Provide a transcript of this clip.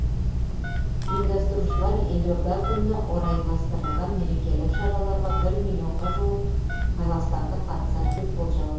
ұйымдастырушылар елорда күніне орайластырылған мерекелік шараларға бір миллионға жуық қазақстандық қатысады деп болжап отыр